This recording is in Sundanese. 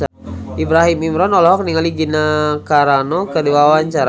Ibrahim Imran olohok ningali Gina Carano keur diwawancara